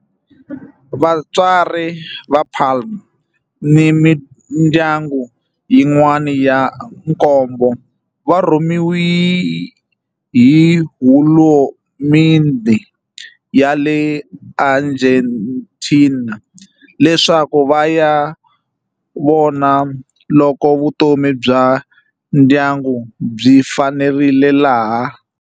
Vatswari va Palma ni mindyangu yin'wana ya nkombo va rhumeriwe hi hulumendhe ya le Argentina leswaku va ya vona loko vutomi bya ndyangu byi fanerile laha.